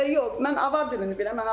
Yox, mən avar dilini bilirəm.